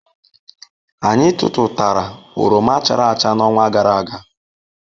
Anyị tụtụtara oroma chara acha n'ọnwa gara aga.